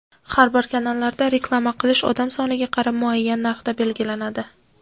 har xil kanallarda reklama qilish odam soniga qarab muayyan narxda belgilanadi.